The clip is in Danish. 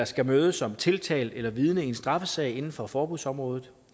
skal møde som tiltalt eller vidne i en straffesag inden for forbudsområdet